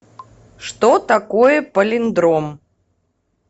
что такое полиндром